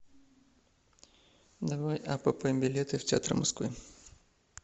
давай апп билеты в театры москвы